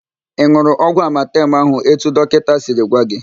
Ị n̄ụrụ ọgwụ amatem ahụ etu dọkịnta siri gwa gị?